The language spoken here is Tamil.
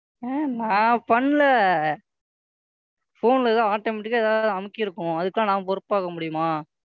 ஆ நான் பண்ணலை. Phone ல எதோ Automatic ஆ ஏதாவது அமுக்கிருக்கும். அதுக்கெல்லாம் நான் பொறுப்பாக முடியுமா?